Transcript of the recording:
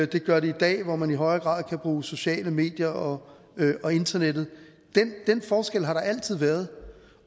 det gør det i dag hvor man i højere grad kan bruge sociale medier og internettet den forskel har der altid været